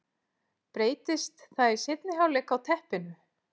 Breytist það í seinni hálfleik á teppinu?